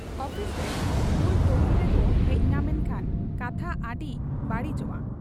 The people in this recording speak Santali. ᱚᱯᱷᱥᱨᱮ ᱵᱩᱞ ᱛᱚᱣᱮᱞ ᱨᱮᱠᱚ ᱦᱮᱡ ᱧᱟᱢ ᱮᱠᱷᱟᱱ ᱠᱟᱛᱷᱟ ᱟᱹᱰᱤ ᱵᱟᱹᱲᱤᱡᱚᱜ ᱟ ᱾